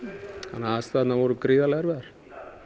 þannig aðstæðurnar voru gríðarlega erfiðar